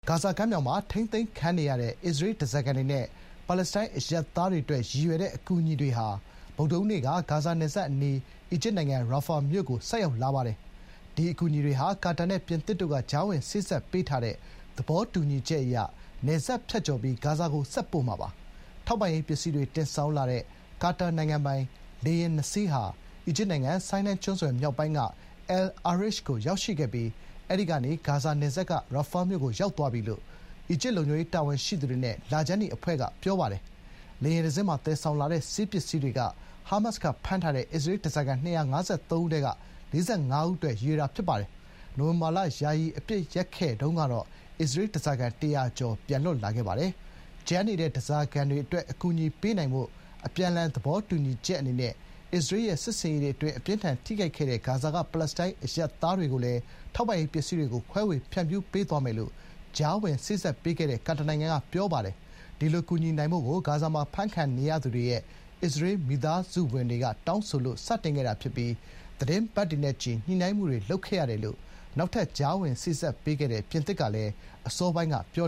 ဂါဇာကမ်းမြောင်မှာ ထိန်းသိမ်းခံနေရတဲ့ အစ္စရေးဓားစာခံတွေနဲ့ ပါလက်စတိုင်း အရပ်သားတွေအတွက်ရည်ရွယ်တဲ့ အကူအညီတွေဟာ ဗုဒ္ဓဟူးနေ့က ဂါဇာနယ်စပ်အနီး အီဂျစ်နိုင်ငံ ရာဖာမြို့ကို ဆိုက်ရောက်လာပါတယ်။ ဒီအကူအညီတွေဟာ ကာတာနဲ့ ပြင်သစ်တို့က ကြားဝင်စေ့စပ်ပေးထားတဲ့ သဘောတူညီချက်အရ နယ်စပ်ဖြတ်ကျော်ပြီး ဂါဇာကို ဆက်ပို့မှာပါ။ ထောက်ပံ့ရေးပစ္စည်းတွေ တင်ဆောင်လာတဲ့ ကာတာနိုင်ငံပိုင် လေယာဥ် (၂) စင်းဟာ အီဂျစ်နိုင်ငံ ဆိုင်းနိုင်းကျွန်းဆွယ်မြောက်ပိုင်းက အယ်လ်အာရစ်ခ်ျ (El Arish) ကို ရောက်ရှိခဲ့ပြီး အဲဒီကနေ ဂါဇာနယ်စပ်က ရာဖာမြို့ကိုရောက်သွားပြီလို့ အီဂျစ်လုံခြုံရေးတာဝန်ရှိသူတွေနဲ့ လခြမ်းနီအဖွဲ့က အရာရှိတွေက ပြောပါတယ်။ လေယာဉ်တစင်းမှာ သယ်ဆောင်လာတဲ့ဆေးပစ္စည်းတွေက ဟားမတ်စ်ရဲ့ အောက်တိုဘာ ၇ ရက် တိုက်ခိုက်မှုအပြီး ဖမ်းထားတဲ့ အစ္စရေးဓားစာခံ ၂၅၃ ဦးထဲက ၄၅ ဦးအတွက် ဖြစ်ပါတယ်။ နိုဝင်ဘာလနှောင်းပိုင်း ယာယီအပစ်ရပ်စဲရေးကာလအတွင်းတုန်းကတော့ အစ္စရေး ဓားစာခံ ၁၀၀ ကျော် ပြန်လွတ်လာပါတယ်။ အဖမ်းခံထားရဆဲဖြစ်တဲ့ ဓားစာခံတွေ အတွက် အကူအညီတွေပေးနိုင်ဖို့ အပြန်အလှန်သဘောတူညီချက်အနေနဲ့ အစ္စရေးရဲ့စစ်ဆင်ရေးတွေအတွင်း အပြင်းအထန်ထိခိုက်ခဲ့ရတဲ့ ဂါဇာရဲ့နေရာတွေက ပါလက်စတိုင်းအရပ်သားတွေကိုလည်း ထောက်ပံ့ရေးပစ္စည်းတွေ ခွဲဝေဖြန့်ဖြူးပေးသွားမယ်လို့ ကြားဝင်စေ့စပ်ပေးခဲ့တဲ့ ကာတာနိုင်ငံက ပြောပါတယ်။ ဒီလို ကူညီနိုင်ဖို့ကို ဂါဇာမှာအဖမ်းခံနေရသူတွေရဲ့ အစ္စရေးမိသားစုဝင်တွေက တောင်းဆိုလို့ စတင်ခဲ့တာဖြစ်ပြီး သီတင်းပတ်တွေနဲ့ချီ ညှိနှိုင်းခဲ့ရတယ်လို့ နောက်ထပ် ကြားဝင် စေ့စပ်ပေးခဲ့တဲ့ပြင်သစ်ကလည်း အစောပိုင်းက ပြော